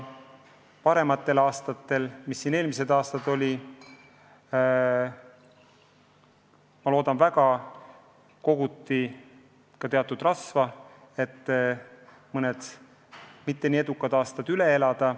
Ma loodan, et parematel aegadel, nagu eelmised aastad olid, koguti teatud rasva, et mõned mitteedukad aastad üle elada.